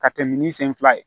Ka tɛmɛ ni sen fila ye